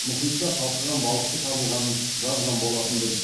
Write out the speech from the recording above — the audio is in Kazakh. мұхитта қалқыған балықшы табылғанын жазған болатынбыз